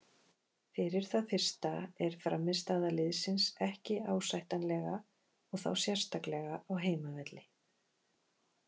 Fyrir það fyrsta er frammistaða liðsins ekki ásættanlega og þá sérstaklega á heimavelli.